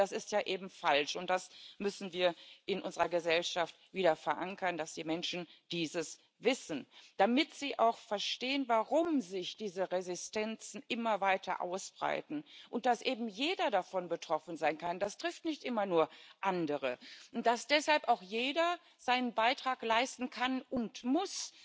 Aber das ist ja eben falsch, und das müssen wir in unserer Gesellschaft wieder verankern, dass die Menschen dies wissen, damit sie auch verstehen, warum sich diese Resistenzen immer weiter ausbreiten und dass eben jeder davon betroffen sein kann das trifft nicht immer nur andere dass deshalb auch jeder seinen Beitrag dazu leisten kann und muss,